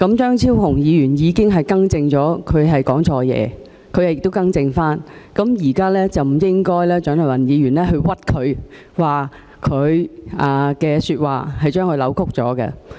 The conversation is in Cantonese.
張超雄議員已經表示他說錯話，亦已經更正，現在蔣麗芸議員不應該冤枉他，並把他的說話扭曲。